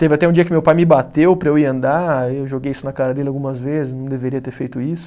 Teve até um dia que meu pai me bateu para eu ir andar, eu joguei isso na cara dele algumas vezes, não deveria ter feito isso.